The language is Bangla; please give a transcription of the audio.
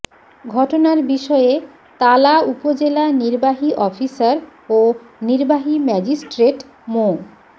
ঘটনার বিষয়ে তালা উপজেলা নির্বাহী অফিসার ও নির্বাহী ম্যাজিস্ট্রেট মো